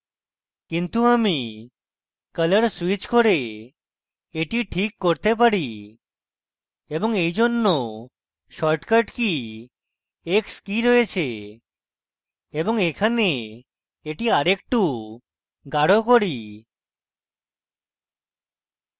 কিন্তু আমি colour switch করে এটি ঠিক করতে পারি এবং এইজন্য shortcut key x key রয়েছে এবং এখানে এটি আরেকটু গাঢ় key